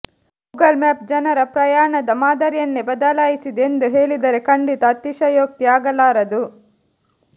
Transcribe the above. Google map ಜನರ ಪ್ರಯಾಣದ ಮಾದರಿಯನ್ನೇ ಬದಲಾಯಿಸಿದೆ ಎಂದು ಹೇಳಿದರೆ ಖಂಡಿತ ಅತಿಶಯೋಕ್ತಿ ಆಗಲಾರದು